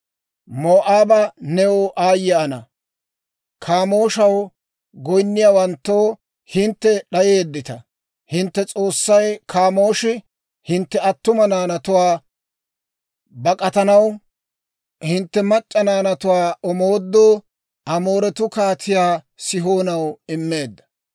Moo'aabaa, new aayye ana! Kaamooshaw goyinniyaawanttoo, hintte d'ayeeddita. Hintte s'oossay, Kaamooshi, hintte attuma naanatuwaa bak'atanaw, hintte mac'c'a naanatuwaa omoodoo, Amooretuu Kaatiyaa Sihoonaw immeedda.